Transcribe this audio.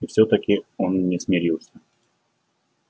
и все таки он не смирился